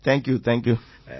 thank you thank you